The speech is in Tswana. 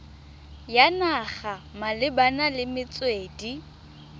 ya naga malebana le metswedi